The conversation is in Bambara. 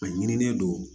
A ɲinini don